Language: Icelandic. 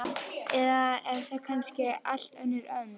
Eða er þetta kannski allt önnur önd?